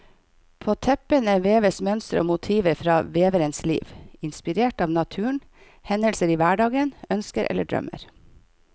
På teppene veves mønstre og motiver fra veverens liv, inspirert av naturen, hendelser i hverdagen, ønsker eller drømmer.